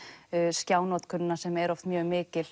skjá notkun sem er oft mjög mikil